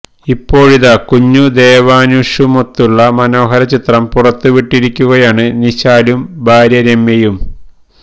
ഇപ്പോഴിതാ കുഞ്ഞു ദേവാന്ഷുമൊത്തുള്ള മനോഹര ചിത്രം പുറത്തു വിട്ടിരിക്കുകയാണ് നിശാലും ഭാര്യ രമ്യയും